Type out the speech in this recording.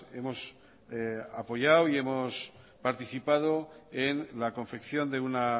hemos apoyado y hemos participado en la confección de una